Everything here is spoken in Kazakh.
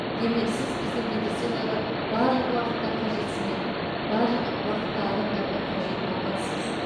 демек сіз біздің медицинада барлық уақытта қажетсінетін барлық а уақытта адамдарға қажет мамансыз